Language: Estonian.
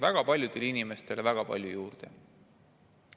Väga paljudele inimestele väga palju juurde.